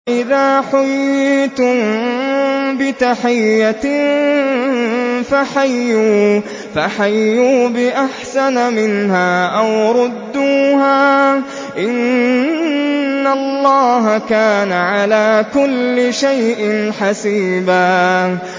وَإِذَا حُيِّيتُم بِتَحِيَّةٍ فَحَيُّوا بِأَحْسَنَ مِنْهَا أَوْ رُدُّوهَا ۗ إِنَّ اللَّهَ كَانَ عَلَىٰ كُلِّ شَيْءٍ حَسِيبًا